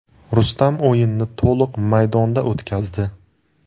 Rustam o‘yinni to‘liq maydonda o‘tkazdi.